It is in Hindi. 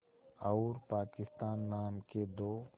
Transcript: और पाकिस्तान नाम के दो